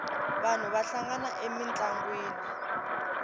vanhu va hlangana emintlangwini